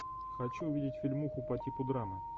хочу увидеть фильмуху по типу драмы